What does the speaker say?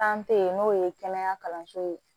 n'o ye kɛnɛya kalanso ye